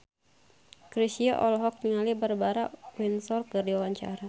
Chrisye olohok ningali Barbara Windsor keur diwawancara